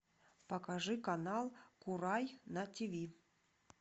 покажи канал курай на тв